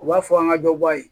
U b'a fɔ an ka dɔ bɔ a ye